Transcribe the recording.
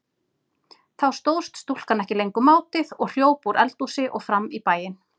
Þá stóðst stúlkan ekki lengur mátið og hljóp úr eldhúsi og fram í bæinn.